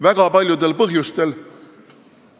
Väga paljudel põhjustel.